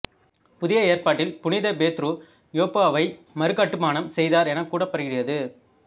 புதிய ஏற்பாட்டில் புனித பேதுரு யோப்பாவை மறுகட்டுமானம் செய்தார் எனக் கூறப்படுகிறது